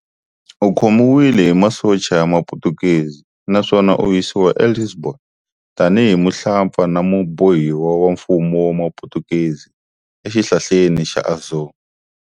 Ukhomiwile hi masocha ya maphutukezi naswona a yisiwa eLisbon, tani hi muhlampfa na mubohiwa wa mfumo wa maphutukezi e xihlaleni xa Azore.